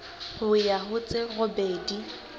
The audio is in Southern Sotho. ho ya ho tse robedi